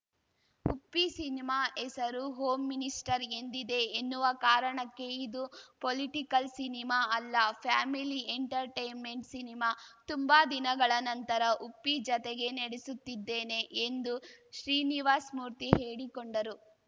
Uppi cinema ಹೆಸರು home minister ಎಂದಿದೆ ಎನ್ನುವ ಕಾರಣಕ್ಕೆ ಇದು ಪೊಲಿಟಿಕಲ್‌ ಸಿನಿಮಾ ಅಲ್ಲ ಫ್ಯಾಮಿಲಿ ಎಂಟರ್‌ಟೈನ್‌ಮೆಂಟ್‌ ಸಿನಿಮಾ ತುಂಬಾ ದಿನಗಳ ನಂತರ ಉಪ್ಪಿ ಜತೆಗೆ ನಡಿಸುತ್ತಿದ್ದೇನೆ ಎಂದು ಶ್ರೀನಿವಾಸಮೂರ್ತಿ ಹೇಳಿಕೊಂಡರು